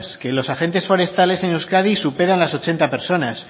que los agentes forestales en euskadi supera las ochenta personas